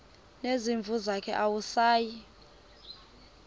nezimvu zakhe awusayi